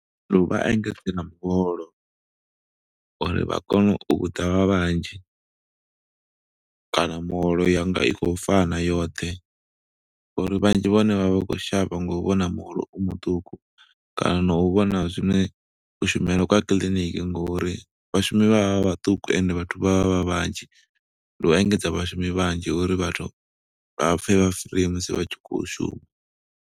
Ndi u vha engedze na muholo uri vha kone u ḓa vha vhanzhi, kana muholo ya nga i khou fana yoṱhe, ngo uri vhanzhi vhahone vha vha khou shavha nga u vhona muholo u muṱuku. Kana no u vhona zwine kushumele kwa kiḽiniki ngo uri vhashumi vha vhaṱuku, ende vhathu vha vha vha vhanzhi. Ndi u engedza vhashumi vhanzhi uri vhathu vha pfe vha free musi vha tshi khou shuma.